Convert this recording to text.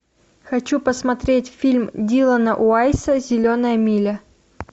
хочу посмотреть фильм диллона уайса зеленая миля